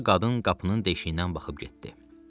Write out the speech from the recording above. Qulluqçu qadın qapının deşiyindən baxıb getdi.